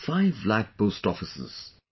5 lakh post offices